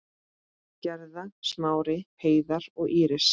Gerða, Smári, Heiðar og Íris.